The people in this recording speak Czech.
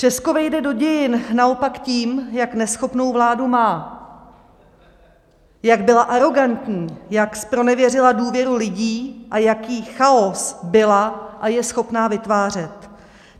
Česko vejde do dějin naopak tím, jak neschopnou vládu má, jak byla arogantní, jak zpronevěřila důvěru lidí a jaký chaos byla a je schopna vytvářet.